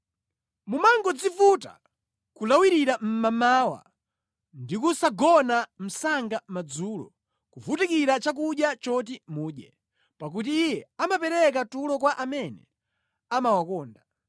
Mumangodzivuta nʼkulawirira mmamawa ndi kusagona msanga madzulo, kuvutikira chakudya choti mudye, pakuti Iye amapereka tulo kwa amene amawakonda.